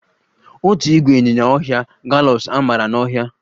Otu ìgwè ịnyinya ọhịa gallops amara n'ọhịa